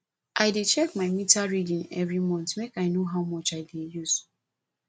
i dey check my meter reading every month make i know how much i use